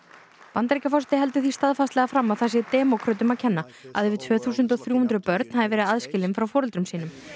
Bandaríkjaforseti heldur því staðfastlega fram að það sé demókrötum að kenna að yfir tvö þúsund og þrjú hundruð börn hafi verið aðskilin frá foreldrum sínum